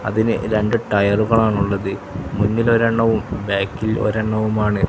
അതിന് രണ്ട് ടയറുകളാണ് ഉള്ളത് മുന്നിൽ ഒരെണ്ണവും ബാക്കിൽ ഒരെണ്ണവുമാണ് --